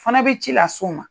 Fana bɛ ci las'u ma.